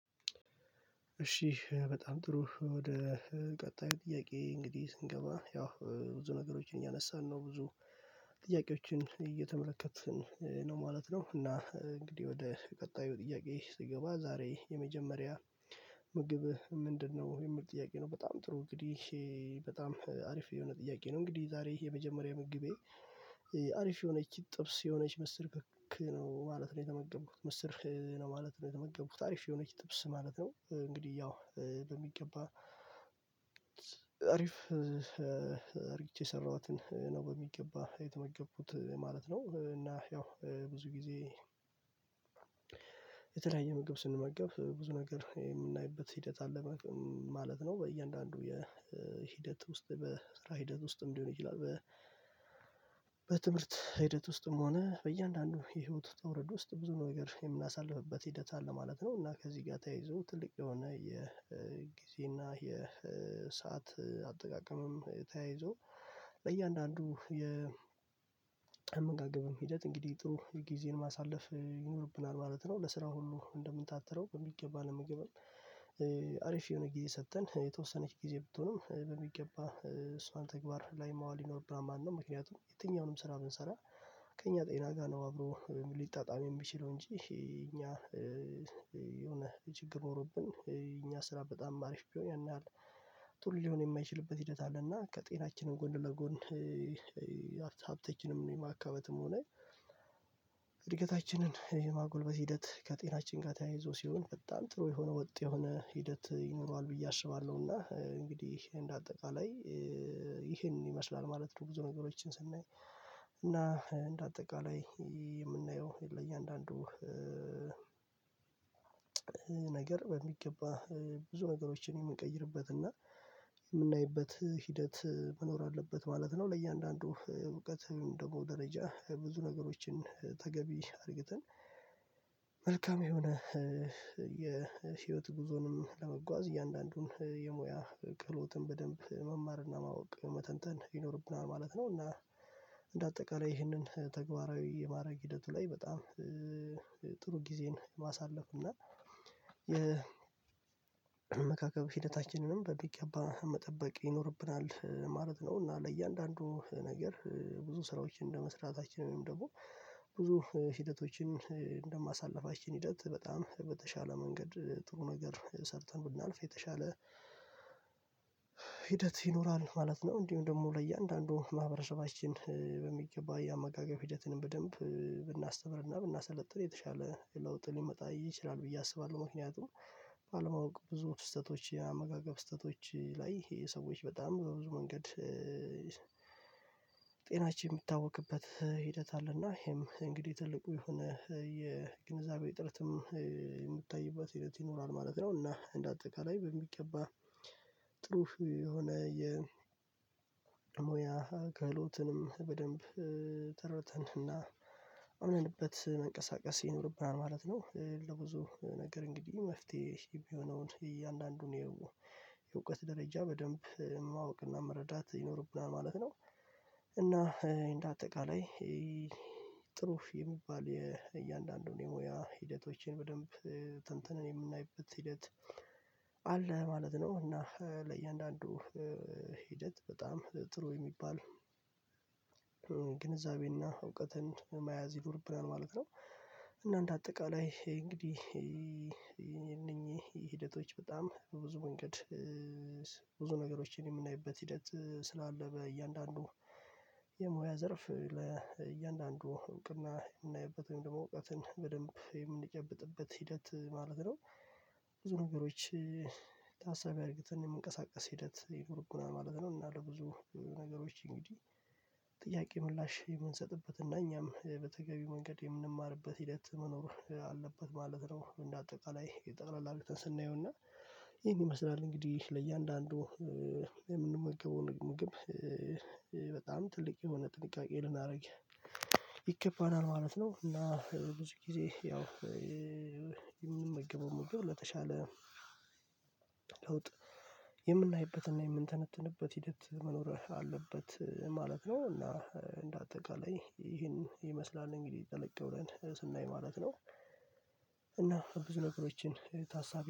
እሺ በጣም ጥሩ ወደ ቀጣዩ ጥያቄ እንግዲህ ስንገባ ያው ብዙ ነገሮችን እያነሳን ነው ብዙ ጥያቄዎችን እየተመለከትን ነው ማለት ነው። እና እንግዲህ ወደ ቀጣዩ ጥያቄ ስገባ ዛሬ የመጀመሪያ ምግብ ምንድነው? የሚል ጥያቄ ነው በጣም ጥሩ እንግዲህ በጣም አሪፍ የሆነ ጥያቄ ነው። እንግዲህ ዛሬ የመጀመሪያ ምግቤ አሪፍ የሆነች ጥብስ የሆነች ምስር ክክ ነው ማለት ነው የተመገቡት ምስር ነው ማለት ነው። የተመገቡት አሪፍ የሆነች ጥብስ ማለት ነው። እንግዲህ ያው በሚገባ አሪፍ አርግቼ የሰራኋትን ነው በሚገባ የተመገቡት ማለት ነው። እና ያው ብዙ ጊዜ የተለያየ ምግብ ስንመገብ ብዙ ነገር የምናይበት ሂደት አለ ማለት ነው። በእያንዳንዱ የሂደት ውስጥ በስራ ሂደት ውስጥም ሊሆን ይችላል። በትምህርት ሂደት ውስጥም ሆነ በእያንዳንዱ የህይወት ውጣ ውረድ ውስጥ ብዙ ነገር የምናሳልፍበት ሂደት አለ ማለት ነው። እና ከዚህ ጋር ተያይዞ ትልቅ የሆነ የጊዜና የሰዓት አጠቃቀምም ተያይዞ ለእያንዳንዱ የ አመጋገብም ሂደት እንግዲህ ጥሩ ጊዜን ማሳለፍ ይኖርብናል ማለት ነው። ለስራው ሁሉ እንደምንታትረው በሚገባ ለምግብም አሪፍ የሆነ ጊዜ ሰጥተን የተወሰነች ጊዜ ብትሆንም በሚገባ እሷን ተግባር ላይ ማዋል ይኖርብሃል ማለት ነው። ምክንያቱም የትኛውንም ስራ ብንሰራ ከእኛ ጤና ጋር ነው አብሮ ሊጣጣም የሚችለው። እንጂ እኛ የሆነ ችግር ኖሮብን እኛ ስራ በጣም አሪፍ ቢሆን ያን ያህል ቱል ሊሆን የማይችልበት ሂደት አለና ከጤናችንን ጎን ለጎን ሀብታችንም የማካበትም ሆነ እድገታችንን የማጎልበት ሂደት ከጤናችን ጋር ተያይዞ ሲሆን በጣም ጥሩ የሆነ ወጥ የሆነ ሂደት ይኖረዋል። ብዬ አስባለሁና እንግዲህ እንደ አጠቃላይ ይሄንን ይመስላል ማለት ነው። ብዙ ነገሮችን ስናይ እና እንደ አጠቃላይ የምናየው የለ እያንዳንዱ ነገር በሚገባ ብዙ ነገሮችን የምንቀይርበት እና የምናይበት ሂደት መኖር አለበት ማለት ነው። ለእያንዳንዱ እውቀትም ደግሞ ደረጃ ብዙ ነገሮችን ተገቢ አርግተን መልካም የሆነ የህይወት ጉዞንም ለመጓዝ እያንዳንዱን የሙያ ክህሎትን በደንብ መማርና ማወቅ መተንተን ይኖርብናል ማለት ነው። እና እንደ አጠቃላይ ይህንን ተግባራዊ የማድረግ ሂደቱ ላይ በጣም ጥሩ ጊዜን ማሳለፍ እና የመካከብ ሂደታችንንም በሚገባ መጠበቅ ይኖርብናል ማለት ነው። እና ለእያንዳንዱ ነገር ብዙ ስራዎችን እንደመስራታችን ወይም ደግሞ ብዙ ሂደቶችን እንደማሳልፋችን ሂደት በጣም በተሻለ መንገድ ጥሩ ነገር ሰርተን ብናልፍ የተሻለ ሂደት ይኖራል ማለት ነው። እንዲሁም ደግሞ ለእያንዳንዱ ማህበረሰባችን በሚገባ የአመጋገብ ሂደትን በደንብ ብናስተምርና ብናሰለጥን የተሻለ ለውጥ ሊመጣ ይችላል ብዬ አስባለሁ። ምክንያቱም ባለማወቅ ብዙ ስህተቶች ያመጋገብ ስህተቶች ላይ ይሄ ሰዎች በጣም በብዙ መንገድ ጤናችን የሚታወክበት ሂደት አለና ይሄም እንግዲህ ትልቁ የሆነ የግንዛቤ እጥረትም የምታይበት ሂደት ይኖራል ማለት ነው። እና እንደ አጠቃላይ በሚገባ ጥሩ የሆነ የሞያ ክህሎትንም በደንብ ተረድተንና አምነንበት መንቀሳቀስ ይኖርብናል ማለት ነው። ለብዙ ነገር እንግዲህ መፍትሄ የሆነውን እያንዳንዱን የውቀት ደረጃ በደንብ ማወቅና መረዳት ይኖርብናል ማለት ነው። እና እንደ አጠቃላይ ጥሩ የሚባል የእያንዳንዱን የሙያ ሂደቶችን በደንብ ተንትነን የምናይበት ሂደት አለ ማለት ነው። እና ለእያንዳንዱ ሂደት በጣም ጥሩ የሚባል ግንዛቤና እውቀትን መያዝ ይኖርብናል ማለት ነው። እና እንደ አጠቃላይ እንግዲህ ይህ እነኚህ ሂደቶች በጣም በብዙ መንገድ ብዙ ነገሮችን የምናይበት ሂደት ስላለ በእያንዳንዱ የሙያ ዘርፍ ለእያንዳንዱ እውቅና የምናይበት ወይም ደግሞ እውቀትን በደንብ የምንጨብጥበት ሂደት ማለት ነው። ብዙ ነገሮች ታሳቢ አድርግተን የመንቀሳቀስ ሂደት ይኖርብናል ማለት ነው። እና ለብዙ ነገሮች እንግዲህ ጥያቄ ምላሽ የምንሰጥበት እና እኛም በተገቢ መንገድ የምንማርበት ሂደት መኖር አለበት ማለት ነው። እንደ አጠቃላይ የጠቅለል አርግተን ስናየውና ይሄን ይመስላል። እንግዲህ ለእያንዳንዱ የምንመገበው ምግብ በጣም ትልቅ የሆነ ጥንቃቄ ልናደርግ ይገባናል ማለት ነው። እና ብዙ ጊዜ ያው የምንመገበው ምግብ ለተሻለ ለውጥ የምናይበትና የምንተነትንበት ሂደት መኖር አለበት ማለት ነው። እና እንደ አጠቃላይ ይሄን ይመስላል እንግዲህ ጠለቀ ብለን ስናይ ማለት ነው። እና ብዙ ነገሮችን ታሳቢ